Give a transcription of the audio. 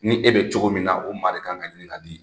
Ni e bɛ cogo min na o maa de ka kan ka ɲinin ka di.